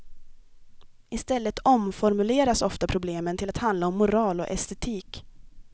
Istället omformuleras ofta problemen till att handla om moral och estetik.